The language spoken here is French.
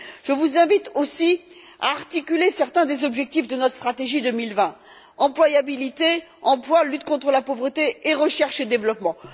Je vous invite aussi à articuler certains des objectifs de notre stratégie 2020 employabilité, emploi, lutte contre la pauvreté et recherche et développement.